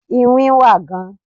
iwin wa gan